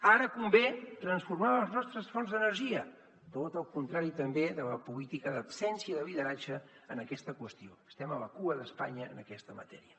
ara convé transformar les nostres fonts d’energia tot el contrari també de la política d’absència de lideratge en aquesta qüestió estem a la cua d’espanya en aquesta matèria